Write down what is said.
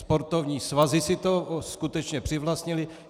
Sportovní svazy si to skutečně přivlastnily.